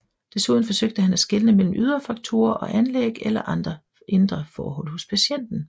Desuden forsøgte han at skelne mellem ydre faktorer og anlæg eller andre indre forhold hos patienten